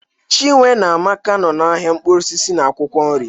Chinwe na Amaka nọ n'ahịa mkpụrụ osisi na akwụkwọ nri